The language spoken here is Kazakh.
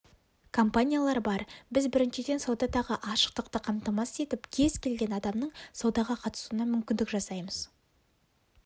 компаниялар бар біз біріншіден саудадағы ашықтықты қамтамасыз етіп кез келген адамның саудаға қатысуына мүмкіндік жасаймыз